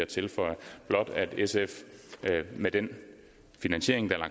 tilføje blot at sf med den finansiering der er